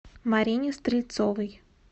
марине стрельцовой